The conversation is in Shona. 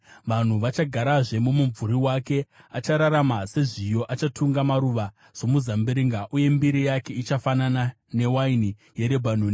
Vanhu vachagarazve mumumvuri wake. Achabudirira sezviyo. Achatunga maruva somuzambiringa, uye mbiri yake ichafanana newaini yeRebhanoni.